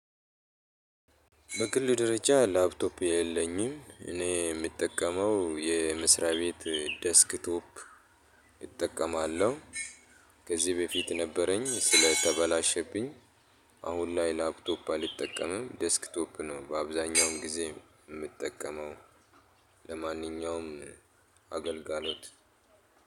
በግል ደረጃ ላፕቶፕ የለኝም እኔ እምጠቀመው የመስሪያ ቤት ደስክ ቶፕ እጠቀማለሁ ከዚ በፊት ነበረኝ ስለተበላሸብኝ። አሁን ላይ ላፕቶፕ አልጠቀምም ዴስክቶፕ ነው በአብዛኛው ጊዜ እምጠቀመው። ለማንኛውም አገልግሎት